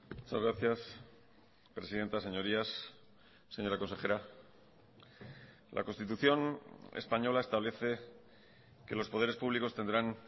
muchas gracias presidenta señorías señora consejera la constitución española establece que los poderes públicos tendrán